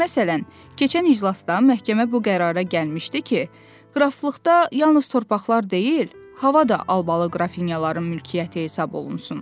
Məsələn, keçən iclasda məhkəmə bu qərara gəlmişdi ki, qraflıqda yalnız torpaqlar deyil, hava da albalı qrafinyaların mülkiyyəti hesablansın.